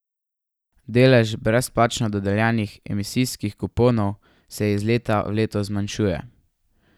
Delež brezplačno dodeljenih emisijskih kuponov se iz leta v leto zmanjšuje.